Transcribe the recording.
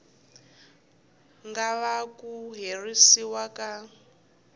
nga vanga ku herisiwa ka